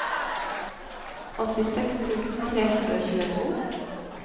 åttiseks tusen tre hundre og tjueto